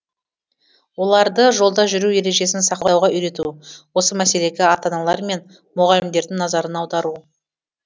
оларды жолда жүру ережесін сақтауға үйрету осы мәселеге ата аналар мен мұғалімдердің назарын аудару